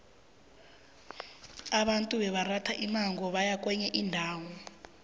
abantu bebaratha imimango nabaya kwenye indawo